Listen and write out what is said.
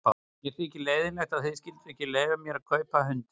Mér þykir leiðinlegt að þið skylduð ekki leyfa mér að kaupa hundinn.